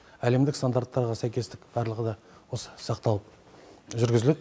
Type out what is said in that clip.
әлемдік стандарттарға сәйкестік барлығыда осы сақталып жүргізіледі